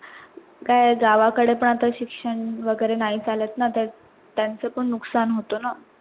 अह गावा काढे पण आता शिक्षण वगैरे नाही चालत ना आता त्यांच पण नुकसान होत ना